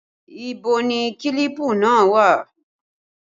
Ìbò ni kílípù náà wà?